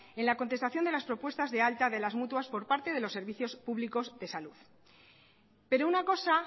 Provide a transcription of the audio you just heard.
en la contestación de las propuestas de altas de las mutuas por parte de los servicios públicos de salud pero una cosa